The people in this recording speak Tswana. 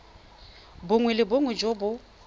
bongwe le bongwe jo bo